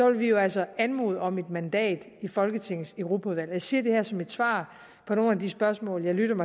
vil vi jo altså anmode om et mandat i folketingets europaudvalg jeg siger det her som et svar på nogle af de spørgsmål jeg lyttede